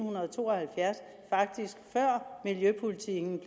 to og halvfjerds faktisk før miljøpolitikken